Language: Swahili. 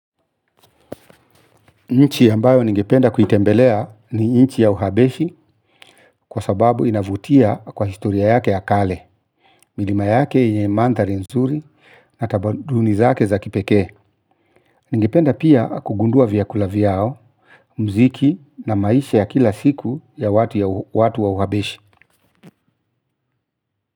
Nchi ambayo ningependa kuitembelea ni nchi ya uhabeshi kwa sababu inavutia kwa historia yake ya kale, milima yake yenye mandhari nzuri na tamaduni zake za kipekee. Ningependa pia kugundua vyakula vyao, mziki na maisha ya kila siku ya watu ya uhabeshi.